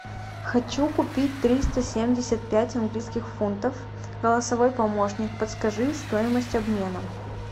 хочу купить триста семьдесят пять английских фунтов голосовой помощник подскажи стоимость обмена